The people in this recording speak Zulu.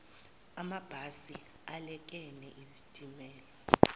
amabhasi alekene izitimela